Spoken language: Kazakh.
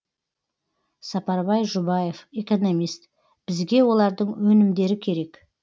сапарбай жұбаев экономист бізге олардың өнімдері керек